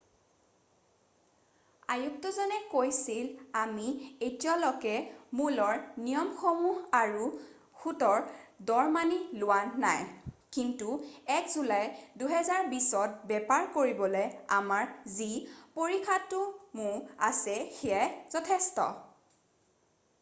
"আয়ুক্তজনে কৈছিল "আমি এতিয়ালৈকে মূলৰ নিয়মসমূহ আৰু সূতৰ দৰ মানি লোৱা নাই কিন্তু 1 জুলাই 2020ত বেপাৰ কৰিবলৈ আমাৰ যি পৰিকাঠামো আছে সেয়াই যথেষ্ট।""